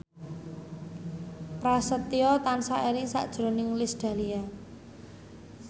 Prasetyo tansah eling sakjroning Iis Dahlia